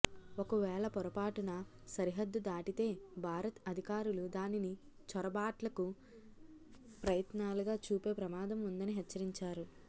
ఒక వేళ పొరపాటున సరిహద్దు దాటితే భారత్ అధికారులు దానిని చొరబాట్లకు ప్రయత్నాలుగా చూపే ప్రమాదం ఉందని హెచ్చరించారు